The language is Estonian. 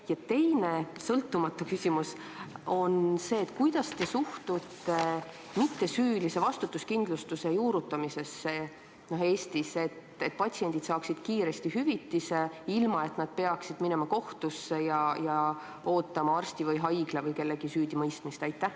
Ja teine, sõltumatu küsimus on see: kuidas te suhtute mittesüülise vastutuskindlustuse juurutamisse Eestis, et patsiendid saaksid kiiresti hüvitise, ilma et nad peaksid minema kohtusse ja ootama arsti või haigla või kellegi teise süüdimõistmist?